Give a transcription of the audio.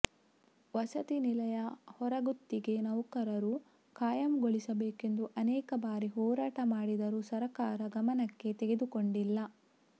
ವಸತಿ ನಿಲಯ ಹೊರಗುತ್ತಿಗೆ ನೌಕರರು ಖಾಯಂಗೊಳಿಸಬೇಕೆಂದು ಅನೇಕ ಬಾರಿ ಹೊರಾಟ ಮಾಡಿದರು ಸಕರ್ಾರ ಗಮನಕ್ಕೆ ತೆಗೆದುಕೊಂಡಿಲ್ಲ